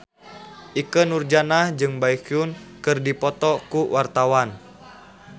Ikke Nurjanah jeung Baekhyun keur dipoto ku wartawan